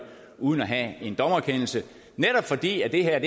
uden at have en dommerkendelse for det her er